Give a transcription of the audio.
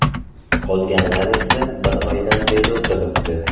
Qolganlar esa bir oydan beri o‘tiribdi.